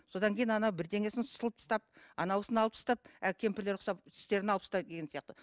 содан кейін бірдеңесін сылып тастап анауысын алып тастап әлгі кемпірлер құсап тістерін алып тастайды деген сияқты